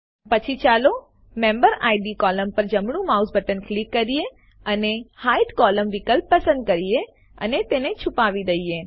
પછી ચાલો member id column પર જમણું માઉસ બટન ક્લિક કરી અને હાઇડ કોલમ્ન વિકલ્પ પસંદ કરીને તેને છુપાવી દઈએ